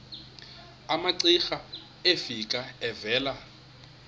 umamcira efika evela